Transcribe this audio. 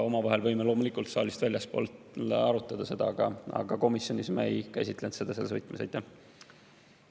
Omavahel võime seda loomulikult saalist väljaspool arutada, aga komisjonis me seda selles võtmes ei käsitlenud.